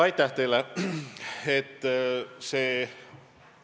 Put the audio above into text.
Aitäh teile!